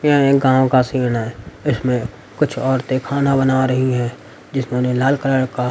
यह एक गांव का सीन है इसमें कुछ औरतें खाना बना रही हैं जिसमें उन्हें लाल कलर का--